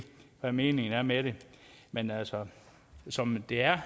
hvad meningen er med det men altså som det er